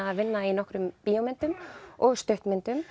að vinna í bíómyndum og stuttmyndum